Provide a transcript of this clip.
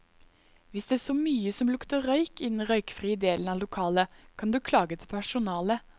Hvis det så mye som lukter røyk i den røykfrie delen av lokalet, kan du klage til personalet.